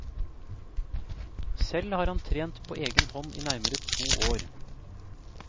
Selv har han trent på egen hånd i nærmere to år.